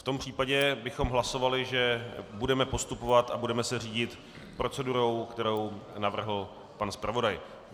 V tom případě bychom hlasovali, že budeme postupovat a budeme se řídit procedurou, kterou navrhl pan zpravodaj.